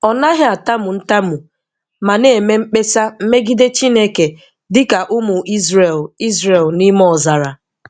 Ọ naghị atamu ntamu ma na-eme mkpesa megide Chineke dị ka ụmụ Izrel Izrel n’ime ọzara.